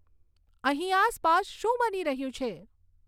અહીં આસપાસ શું બની રહ્યું છે